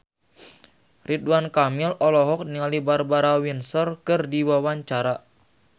Ridwan Kamil olohok ningali Barbara Windsor keur diwawancara